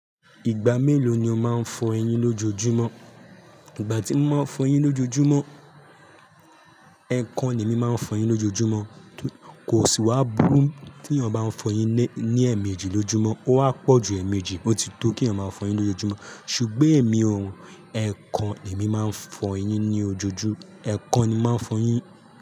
Ìgbà mélòó ni o máa ń fọ eyín lójojúmọ́? Ìgbà tí mo mo ń fọ eyín lójojúmọ́, ẹ̀ẹ̀kan ni emí máa ń fọ eyín lójojúmọ́. Kò síwá burú tí yan bá ń fọ eyín le ní ẹẹ̀méjì lojúmọ́, ó wá pọ̀ ju ẹẹ̀méjì òtítọ́ kí eyan máa fọ eyín lójojúmọ́. Ṣùgbọ́n èmi ò, ẹ̀ẹ̀kan èmi máa ń fọ eyín ní ojojú, ẹ̀ẹ̀kan ni máa ń fọ eyín.